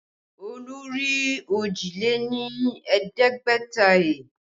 Olú rí òjì lé ní ẹ̀ẹ́dẹ́gbẹ̀ta he